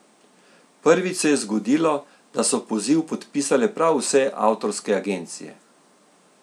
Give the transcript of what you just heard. Prvič se je zgodilo, da so poziv podpisale prav vse avtorske agencije.